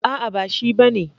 A'a ba shi bane.